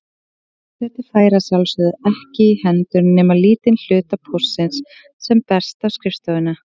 Forseti fær að sjálfsögðu ekki í hendur nema lítinn hluta póstsins sem berst á skrifstofuna.